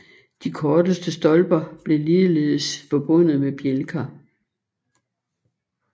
De kortere stolper blev ligeledes forbundet med bjælker